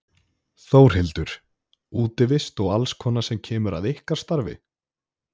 Þórhildur: Útivist og alls konar sem kemur að ykkar starfi?